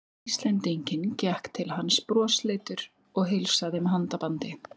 Íslendinginn, gekk til hans brosleitur og heilsaði með handabandi.